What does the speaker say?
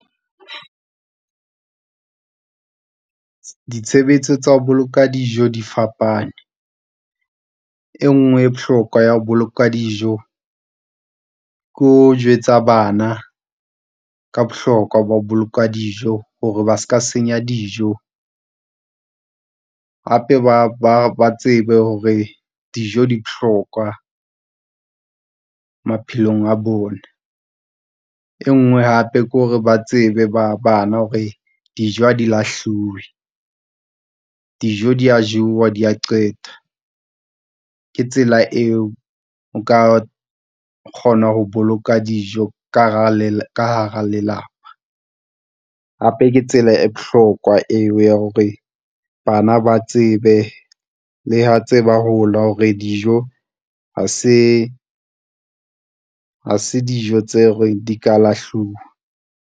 Ditshebetso tsa ho boloka dijo di fapane e nngwe e bohlokwa ya ho boloka dijo ke ho jwetsa bana ka bohlokwa ba ho boloka dijo hore ba ska senya dijo. Hape ba tsebe hore dijo di bohlokwa maphelong a bona. E nngwe hape ke hore ba tsebe bana hore dijo ha di lahluwe. Dijo di a jowa di a qeta ke tsela eo o ka kgona ho boloka dijo ka hara lelapa. Hape ke tsela e bohlokwa eo ya hore bana ba tsebe le ha tse hola hore dijo ha se, ha se dijo tseo re di ka lahluwa.